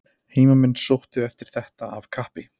Heimamenn sóttu eftir þetta af kappi.